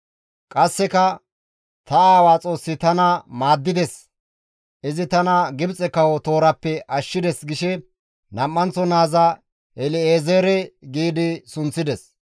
Qasseka, «Ta aawaa Xoossi tana maaddides; izi tana Gibxe kawo toorappe ashshides» gishe Nam7anththo naaza El7ezeere gi sunththides.